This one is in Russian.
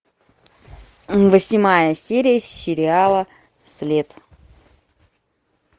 восьмая серия сериала след